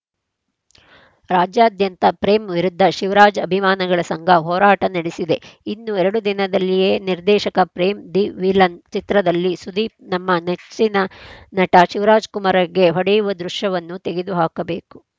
ರಾಜ್ಯಾದ್ಯಂತ ಪ್ರೇಮ್‌ ವಿರುದ್ಧ ಶಿವರಾಜ್‌ ಅಭಿಮಾನಿಗಳ ಸಂಘ ಹೋರಾಟ ನಡೆಸಿದೆ ಇನ್ನು ಎರಡು ದಿನದಲ್ಲೇ ನಿರ್ದೇಶಕ ಪ್ರೇಮ್‌ ದಿ ವಿಲನ್‌ ಚಿತ್ರದಲ್ಲಿ ಸುದೀಪ್‌ ನಮ್ಮ ನೆಚ್ಚಿನ ನಟ ಶಿವರಾಜಕುಮಾರ್‌ಗೆ ಹೊಡೆಯುವ ದೃಶ್ಯವನ್ನು ತೆಗೆದು ಹಾಕಬೇಕು